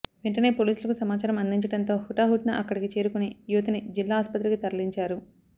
వెంటనే పోలీసులకు సమాచారం అందించడంతో హుటాహుటిన అక్కడికి చేరుకుని యువతిని జిల్లా ఆస్పత్రికి తరలించారు